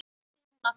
spyr hún aftur.